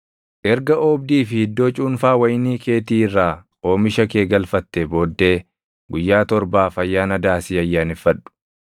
Erga oobdii fi iddoo cuunfaa wayinii keetii irraa oomisha kee galfattee booddee guyyaa torbaaf Ayyaana Daasii ayyaaneffadhu.